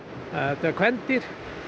þetta er kvendýr